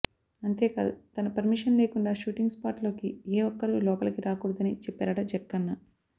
అంతేకాదు తన పర్మిషన్ లేకుండా షూటింగ్ స్పాట్ లోకి ఏ ఒక్కరూ లోపలికి రాకూడదని చెప్పారట జక్కన్న